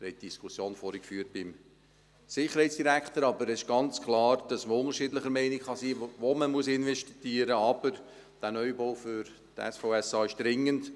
Sie haben vorhin die Diskussion mit dem Sicherheitsdirektor geführt, aber es ist ganz klar, dass man unterschiedlicher Meinung sein kann, wo man investieren muss, aber dieser Neubau für das SVSA ist dringend.